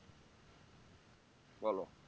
বলো